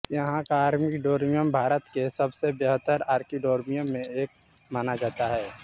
यहां का आर्किडोरियम भारत के सबसे बेहतर आर्किडोरियम में से एक माना जाता है